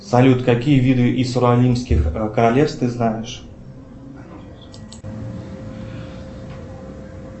салют какие виды исуралинских королевств ты знаешь